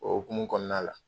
O hukumu kɔnɔna la